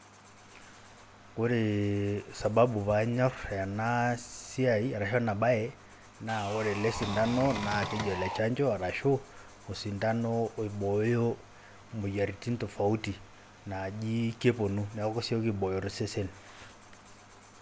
Oree sababu paa nyorr ena ena siai arashu ena baye naa ore ele sindano naa keji ole chanjo arashu osindano oibooyo imoyiaritin tofauti naaji keponu neeku kesieki aibooyo tosesen.